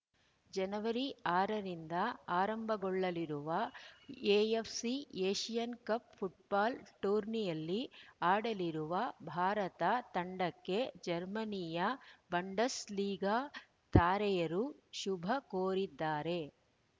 ಜನವರಿ ಆರ ರಿಂದ ಆರಂಭಗೊಳ್ಳಲಿರುವ ಎಎಫ್‌ಸಿ ಏಷ್ಯನ್‌ ಕಪ್‌ ಫುಟ್ಬಾಲ್‌ ಟೂರ್ನಿಯಲ್ಲಿ ಆಡಲಿರುವ ಭಾರತ ತಂಡಕ್ಕೆ ಜರ್ಮನಿಯ ಬಂಡಸ್‌ಲೀಗಾ ತಾರೆಯರು ಶುಭ ಕೋರಿದ್ದಾರೆ